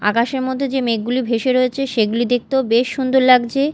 আকাশের মোদ্যে যে মেঘগুলি ভেসে রয়েছে সেগুলি দেখতেও বেশ সুন্দর লাগছে।